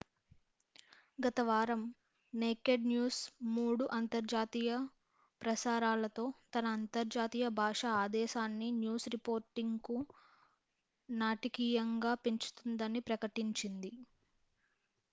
గత వారం naked news మూడు అంతర్జాతీయ ప్రసారాలతో తన అంతర్జాతీయ భాషా ఆదేశాన్ని న్యూస్ రిపోర్టింగ్కు నాటకీయంగా పెంచుతుందని ప్రకటించింది